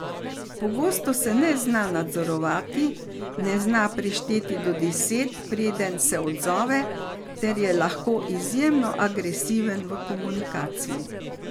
Pogosto se ne zna nadzorovati, ne zna prešteti do deset preden se odzove ter je lahko izjemno agresiven v komunikaciji.